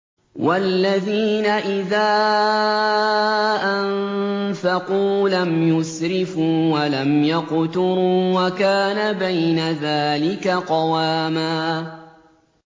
وَالَّذِينَ إِذَا أَنفَقُوا لَمْ يُسْرِفُوا وَلَمْ يَقْتُرُوا وَكَانَ بَيْنَ ذَٰلِكَ قَوَامًا